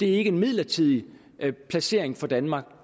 er en midlertidig placering for danmark